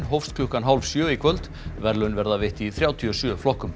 hófst klukkan hálf sjö í kvöld verðlaun verða veitt í þrjátíu og sjö flokkum